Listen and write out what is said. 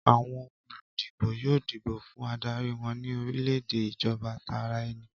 Àwọn olùdìbò yóò dìbò fún adarí wọn ní orílẹ̀-èdè ìjọba tara ẹni.